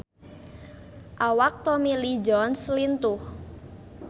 Awak Tommy Lee Jones lintuh